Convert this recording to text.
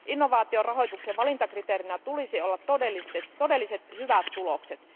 Innovaatiorahoituksen valintakriteerinä tulisi olla todelliset hyvät tulokset.